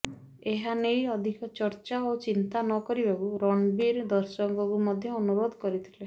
ଏହା ନେଇ ଅଧିକ ଚର୍ଚ୍ଚା ଓ ଚିନ୍ତା ନ କରିବାକୁ ରଣବୀର ଦର୍ଶକଙ୍କୁ ମଧ୍ୟ ଅନୁରୋଧ କରିଥିଲେ